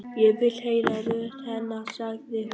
Ég vil heyra rödd hennar, sagði hún.